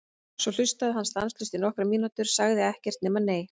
Svo hlustaði hann stanslaust í nokkrar mínútur, sagði ekkert nema: Nei!